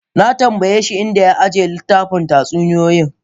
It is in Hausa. Na tambaye shi, in da ya ajiye littafin tatsuniyoyi?